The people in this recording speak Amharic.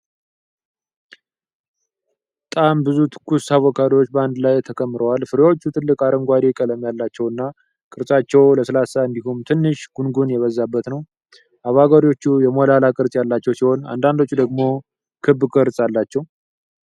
ጣም ብዙ ትኩስ አቮካዶዎች በአንድ ላይ ተከምረዋል። ፍሬዎቹ ጥልቅ አረንጓዴ ቀለም ያላቸውና ቅርፊታቸው ለስላሳ እንዲሁም ትንሽ ጉንጉን የበዛበት ነው። አቮካዶዎቹ የሞላላ ቅርጽ ያላቸው ሲሆን፣ አንዳንዶቹ ደግሞ ክብ ቅርጽ አላቸው።